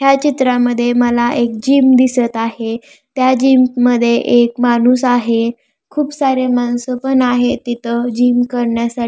ह्या चित्रामध्ये मला एक जिम दिसत आहे त्या जिम मध्ये एक माणूस आहे खूप सारे माणस पण आहे तिथ जिम करण्यासाठी.